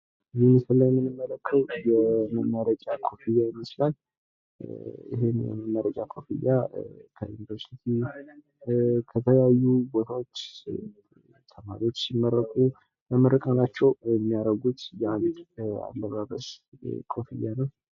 በምስሉ ላይ የምንመለከተዉ የመመረቂያ ኮፍያ ይመስላል፤ ይህን የመመረቂያ ኮፍያ ከዩንቨርሲትይ ፣ከተለያዩ ቦታዎች ተማሪዎች ሲመረቁ ለምርቃናቸዉ የሚያረጉት የአንድ አለባበስ ኮፍያ ነው።